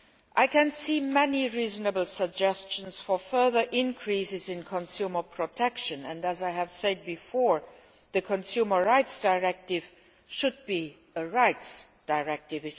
I can see many reasonable suggestions for further increases in consumer protection and, as I have said before, the Consumer Rights Directive should be a rights directive.